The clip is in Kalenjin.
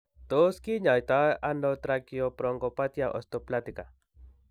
Tos kinyaaytano tracheobronchopathia osteoplastica ?